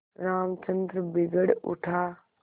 रामचंद्र बिगड़ उठा